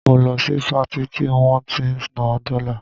Mo lọ sí Patí tí wọ́n ti ń ná dọ́là